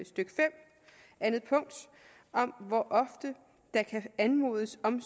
stykke fem anden punkt om hvor ofte der kan anmodes om